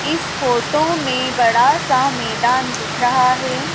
इस फोटो में बड़ा सा मैदान दिख रहा है।